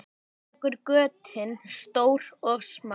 Þekur götin stór og smá.